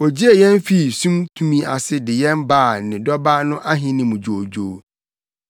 Ogyee yɛn fii sum tumi ase de yɛn baa ne Dɔba no Ahenni mu dwoodwoo.